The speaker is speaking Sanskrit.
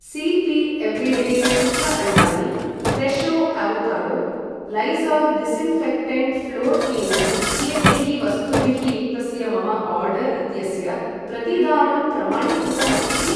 सी पी एवरिडे शुक्ल अण्डानि, Fresho avocado, Lysol disinfectant floor cleaner इत्येतैः वस्तुभिः युक्तस्य मम आर्डर् इत्यस्य प्रतिदानं प्रमाणीकृतम् अस्ति किम्?